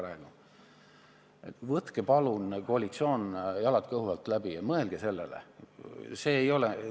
Koalitsioon, palun võtke jalad kõhu alt välja ja mõelge sellele!